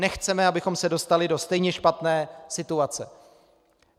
Nechceme, abychom se dostali do stejně špatné situace.